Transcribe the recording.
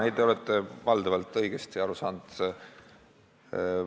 Ei, te olete valdavalt õigesti aru saanud.